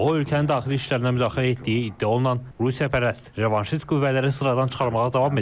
O, ölkənin daxili işlərinə müdaxilə etdiyi iddia olunan Rusiyapərəst, revanşist qüvvələri sıradan çıxarmağa davam edir.